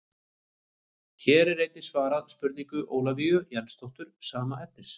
Hér er einnig svarað spurningu Ólafíu Jensdóttur sama efnis.